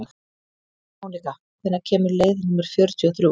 Mónika, hvenær kemur leið númer fjörutíu og þrjú?